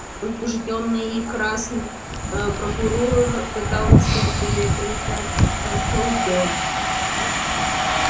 возбуждённый и красный ээ прокурор пытался перекричать ээ сэлдона